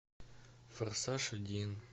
форсаж один